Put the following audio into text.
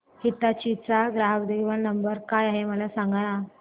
हिताची चा ग्राहक देखभाल नंबर काय आहे मला सांगाना